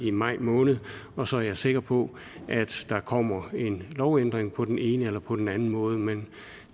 i maj måned og så er jeg sikker på at der kommer en lovændring på den ene eller på den anden måde men